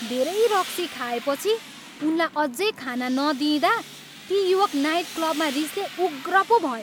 धेरै रक्सी खाएपछि उनलाई अझै खान नदिइँदा ती युवक नाइटक्लबमा रिसले उग्र पो भए।